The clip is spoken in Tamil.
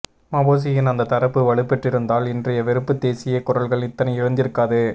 மபொசியின் அந்த தரப்பு வலுபெற்றிருந்தால் இன்றைய வெறுப்புத்தேசிய குரல்கள் இத்தனை எழுந்திருக்காது